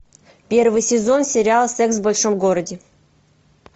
первый сезон сериал секс в большом городе